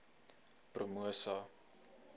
promosa